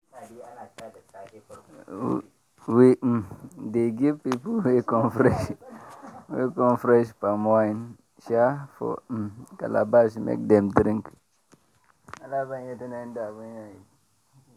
we um dey give people wey come fresh wey come fresh palm wine um for um calabash make dem drink.